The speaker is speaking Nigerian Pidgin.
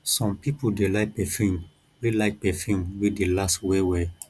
some pipo dey like perfume wey like perfume wey dey last well well